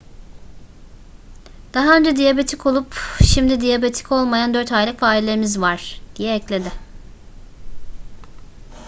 daha önce diyabetik olup şimdi diyabetik olmayan 4 aylık farelerimiz var diye ekledi